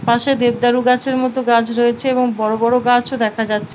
পাশে দেবদারু গাছের মতো গাছ রয়েছে এবং বড় বড় গাছও দেখা যাচ্ছে।